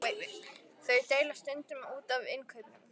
Þau deila stundum út af innkaupunum.